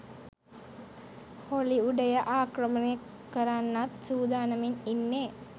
හොලිවුඩය ආක්‍රමණය කරන්නත් සූදානමින් ඉන්නේ